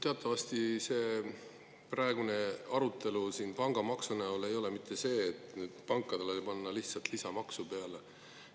Teatavasti see praegune pangamaksu arutelu ei ole mitte selle üle, et pankadele tahetaks panna lihtsalt lisamaksu peale.